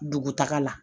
Dugu taga la